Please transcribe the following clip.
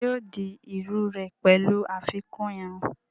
Ṣé yóò di iru rẹ̀ pẹ̀lú àfikún irun?